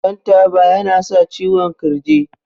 shan taba yana sa ciwon kirji